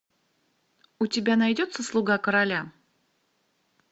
у тебя найдется слуга короля